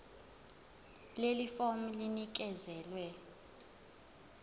leli fomu linikezelwe